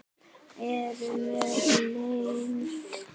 Eru mér gleymd.